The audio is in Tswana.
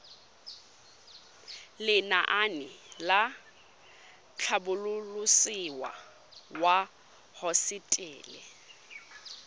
lenaane la tlhabololosewa ya hosetele